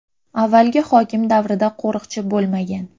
Avvalgi hokim davrida qo‘riqchi bo‘lmagan.